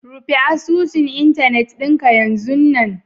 rufe asusun Internet dinka yazun nan